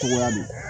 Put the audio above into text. Cogoya min na